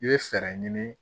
I bɛ fɛɛrɛ ɲini